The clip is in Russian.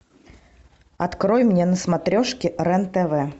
открой мне на смотрешке рен тв